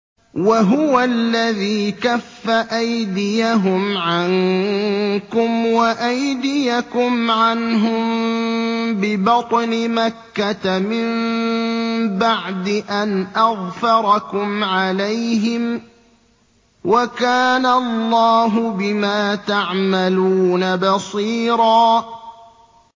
وَهُوَ الَّذِي كَفَّ أَيْدِيَهُمْ عَنكُمْ وَأَيْدِيَكُمْ عَنْهُم بِبَطْنِ مَكَّةَ مِن بَعْدِ أَنْ أَظْفَرَكُمْ عَلَيْهِمْ ۚ وَكَانَ اللَّهُ بِمَا تَعْمَلُونَ بَصِيرًا